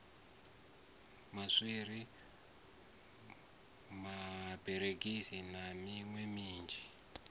maswiri maberegisi na miṋwe minzhi